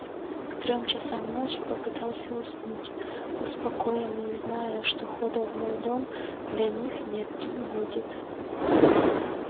к трём часам ночи попытался уснуть успокоенный зная что хода в мой дом для них нет и не будет